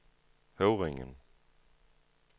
Høvringen